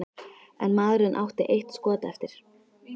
En maðurinn átti eitt skot eftir.